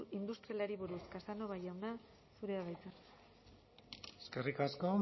industrialari buruz casanova jauna zurea da hitza eskerrik asko